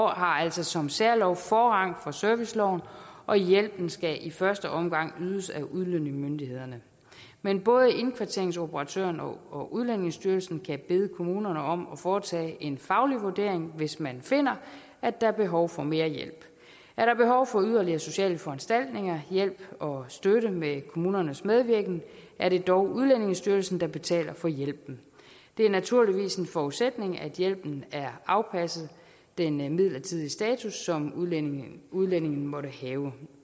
har altså som særlov forrang for serviceloven og hjælpen skal i første omgang ydes af udlændingemyndighederne men både indkvarteringsoperatøren og udlændingestyrelsen kan bede kommunerne om at foretage en faglig vurdering hvis man finder at der er behov for mere hjælp er der behov for yderligere sociale foranstaltninger hjælp og støtte med kommunernes medvirken er det dog udlændingestyrelsen der betaler for hjælpen det er naturligvis en forudsætning at hjælpen er afpasset den midlertidige status som udlændingen udlændingen måtte have